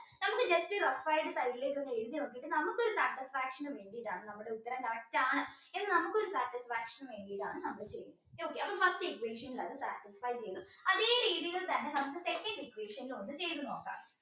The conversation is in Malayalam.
ഇത് just rough ആയിട്ട് side ൽ ഒന്ന് എഴുതി നോക്കിയിട്ട് നമുക്കൊരു satisfaction വേണ്ടിയിട്ടാണ് നമ്മുടെ ഉത്തരം correct ആണ് എന്ന് നമുക്കൊരു satisfaction വേണ്ടിയിട്ടാണ് നമ്മൾ ചെയ്യുന്നത് first equation അത് satisfy ചെയ്തു അതേ രീതിയിൽ തന്നെ നമുക്ക് second equation ചെയ്തു നോക്കാം